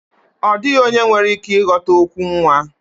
Ọ dịghị onye nwere ike ịghọta okwu nwa